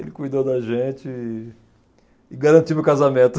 Ele cuidou da gente e e garantiu meu casamento.